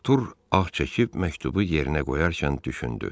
Artur ah çəkib məktubu yerinə qoyarkən düşündü.